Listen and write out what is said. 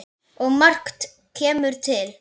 Og margt kemur til.